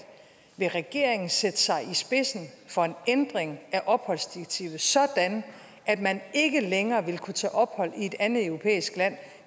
vil regeringen sætte sig i spidsen for en ændring af opholdsdirektivet sådan at man ikke længere vil kunne tage ophold i et andet europæisk land